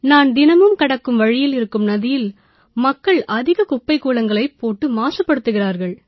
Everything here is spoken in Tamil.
நான் தினமும் கடக்கும் வழியில் இருக்கும் நதியில் மக்கள் அதிக குப்பை கூளங்களைப் போட்டு மாசுபடுத்துகிறார்கள்